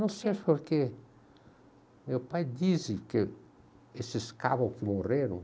Não sei, porque meu pai disse que esses cabras que morreram,